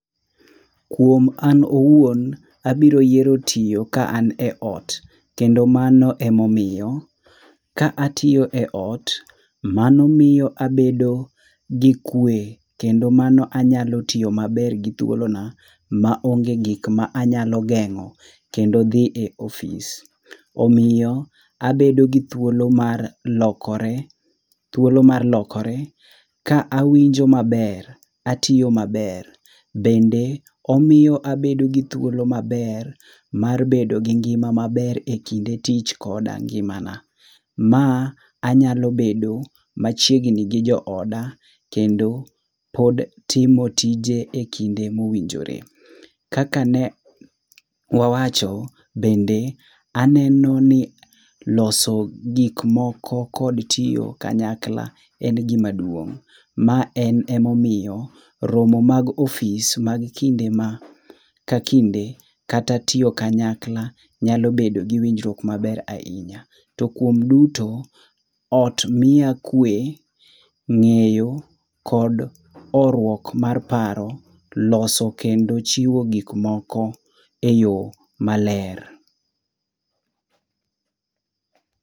Kuom an owuon, abiro yiero tiyo ka an eot. Kendo mano emomiyo, ka atiyo eot, mano miyo abedo gi kwe kendo mano anyalo tiyo maber gi thuolona maonge gik ma anyalo geng'o kendo dhi e ofis. Omiyo abedo gi thuolo mar lokore, thuolo mar lokore ka awinjo maber, atiyo maber bende omiyo abedo gi thuolo maber mar bedo gi ngima maber ekinde tich koda ngimana. Ma anyalo bedo machiegni gi jooda, kendo pod timo tije ekinde mowinjore. Kaka ne wawacho bende aneno ni loso gik moko kod tiyo kanyakla en gima duong'. Ma en emomiyo, romo mag ofis mag kinde ma kakinde kata tiyo kanyakla nyalo bedo gi winjruok maber ahinya. To kuom duto, ot miya kwe, ng'eyo kod horuok mar paro, loso kendo chiwo gik moko eyo maler.